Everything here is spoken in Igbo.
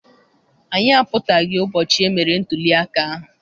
Anyị apụtaghị ụbọchị emere ntụliaka ahụ.